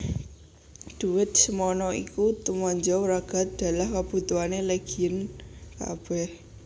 Dhuwit semana iku tumanja wragad dalah kabutuhané Legiun kabèh